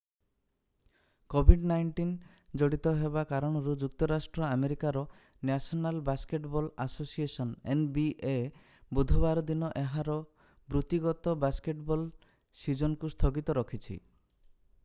COVID-19 ଜଡିତ ହେବା କାରଣରୁ ଯୁକ୍ତରାଷ୍ଟ୍ର ଆମେରିକାର national basketball association nba ବୁଧବାର ଦିନ ଏହାର ବୃତ୍ତିଗତ ବାସ୍କେଟବଲ୍ ସିଜିନକୁ ସ୍ଥଗିତ ରଖିଛି।